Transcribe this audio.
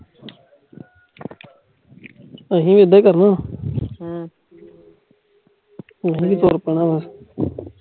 ਅਸੀਂ ਵੀ ਐਦਾਂ ਈ ਕਰਨਾ ਵਾ ਅਸੀਂ ਵੀ ਤੁਰ ਪੈਣਾ ਵਾ